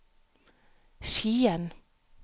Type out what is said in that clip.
Skien